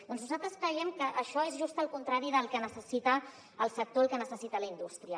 doncs nosaltres creiem que això és just el contrari del que necessita el sector el que necessita la indústria